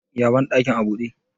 ya bandakin a bude?